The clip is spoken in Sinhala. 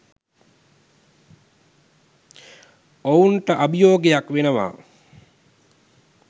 ඔවුන්ට අභියෝගයක් වෙනවා.